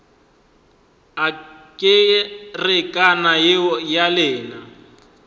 a kerekana yeo ya lena